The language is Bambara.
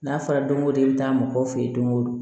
N'a fɔra don ko don i bi taa mɔgɔw fe yen don go don